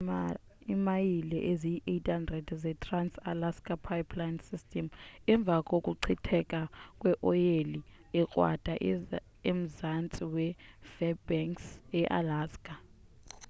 bekuvalwe imayile eziyi-800 ze-trans-alaska pipeline system emva kokuchitheka kweoyile ekrwada emzantsi we-fairbanks ealaska